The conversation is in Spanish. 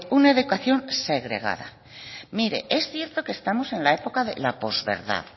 una educación segregada mire es cierto que estamos en la época de la posverdad